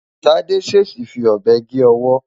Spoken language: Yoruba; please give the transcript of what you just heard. Tádé ṣèèṣì fi ọ̀bẹ gé ọwọ́.